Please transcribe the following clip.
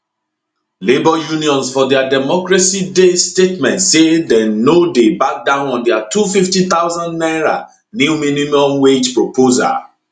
labour unions for dia democracy day statement say dem no dey back down on dia 250000 naira new minimum wage proposal